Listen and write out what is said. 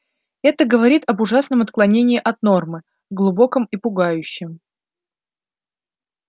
это говорит об ужасном отклонении от нормы глубоком и пугающем